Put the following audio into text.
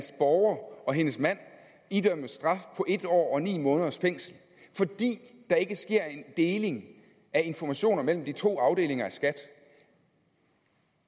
borger og hendes mand idømmes straf på en år og ni måneders fængsel fordi der ikke sker en deling af informationer mellem de to afdelinger af skat